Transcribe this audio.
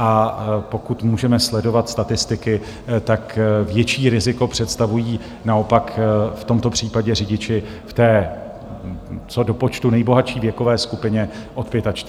A pokud můžeme sledovat statistiky, tak větší riziko představují naopak v tomto případě řidiči v té co do počtu nejbohatší věkové skupině od 45 do 60. let.